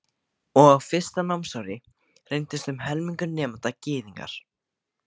Og á fyrsta námsári reyndist um helmingur nemenda Gyðingar.